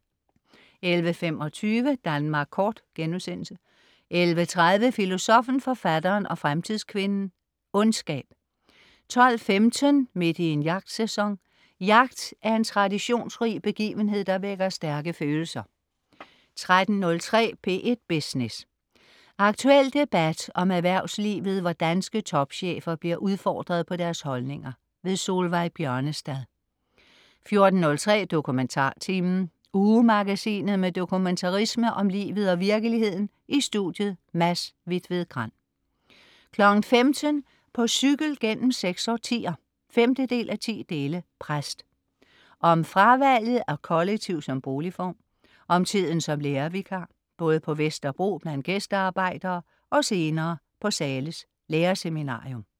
11.25 Danmark kort* 11.30 Filosoffen, Forfatteren og Fremtidskvinden - Ondskab 12.15 Midt i en jagtsæson. Jagt er en traditionsrig begivenhed, der vækker stærke følelser 13.03 P1 Business. Aktuel debat om erhvervslivet, hvor danske topchefer bliver udfordret på deres holdninger. Solveig Bjørnestad 14.03 DokumentarTimen. Ugemagasinet med dokumentarisme om livet og virkeligheden. I studiet: Mads Hvitved Grand 15.00 På cykel gennem seks årtier 5:10. Præst. Om fravalget af kollektiv som boligform, om tiden som lærervikar, både på Vesterbro blandt "gæstearbejdere" og senere på Zahles lærerseminarium